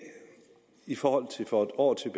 i forhold til for en år